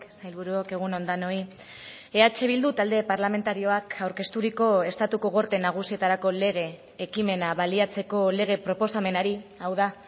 sailburuok egun on denoi eh bildu talde parlamentarioak aurkezturiko estatuko gorte nagusietarako lege ekimena baliatzeko lege proposamenari hau da